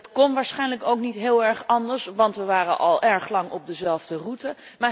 Dat kon waarschijnlijk ook niet heel erg anders, want we waren al erg lang op dezelfde route.